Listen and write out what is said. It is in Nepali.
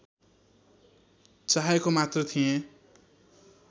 चाहेको मात्र थिएँ